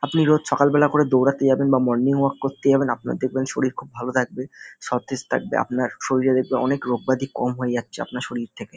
আপনি রোজ সকালবেলা করে দৌড়াতে যাবেন বা মর্নিং ওয়াক করতে যাবেন আপনার দেখবেন শরীর খুব ভাল থাকবে সতেজ থাকবে। আপনার শরীরে দেখবে অনেক রোগব্যাধি কম হয়ে যাচ্ছে আপনার শরীর থেকে।